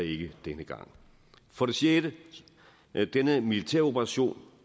ikke denne gang for det sjette denne militæroperation